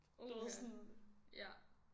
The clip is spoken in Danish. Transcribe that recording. Du ved sådan